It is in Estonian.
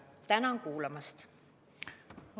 Tänan kuulamast!